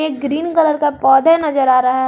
Green colour का पौधा नजर आ रहा है।